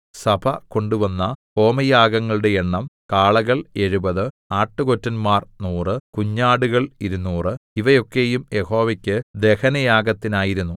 സഭ കൊണ്ടുവന്ന ഹോമയാഗങ്ങളുടെ എണ്ണം കാളകൾ എഴുപത് ആട്ടുകൊറ്റൻമാർ നൂറ് കുഞ്ഞാടുകൾ ഇരുനൂറ് ഇവയൊക്കെയും യഹോവയ്ക്ക് ദഹനയാഗത്തിനായിരുന്നു